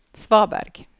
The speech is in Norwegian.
svaberg